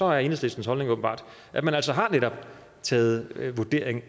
er enhedslistens holdning åbenbart at man netop har taget den vurdering